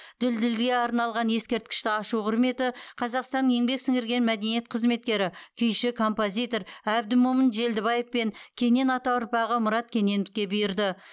дүлдүлге арналған ескерткішті ашу құрметі қазақстанның еңбек сіңірген мәдениет қызметкері күйші композитор әбдімомын желдібаев пен кенен ата ұрпағы мұрат кененовке бұйырды